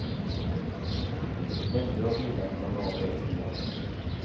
Mängder av bilar kanade av vägen i halkan.